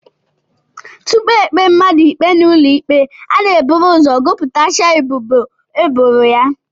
Tupu e kpee mmadụ ikpe n'ụlọikpe, a na-eburu ụzọ gụpụtasịa ebubo e boro ya